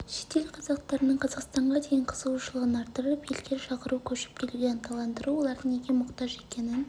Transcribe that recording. шетел қазақтарының қазақстанға деген қызығушылығын арттырып елге шақыру көшіп келуге ынталандыру олардың неге мұқтаж екенін